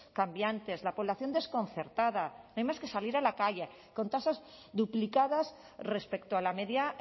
cambiantes la población desconcertada no hay más que salir a la calle con tasas duplicadas respecto a la media